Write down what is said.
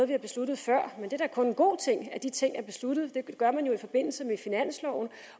vi har besluttet før et er da kun en god ting at de ting er besluttet det gør man jo i forbindelse med finansloven